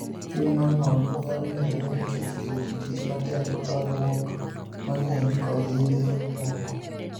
Chuny ma ng'ol nyalo medore nikech liet, tich matek, parruok mang'eny, kod yedhe moko.